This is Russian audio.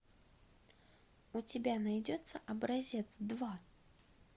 у тебя найдется образец два